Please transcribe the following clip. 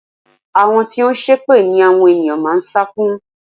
Àwọn tí ó ń ṣépè ni àwọn ènìyàn máa ń sá fún.